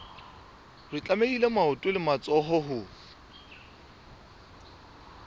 tlamehile maoto le matsoho ho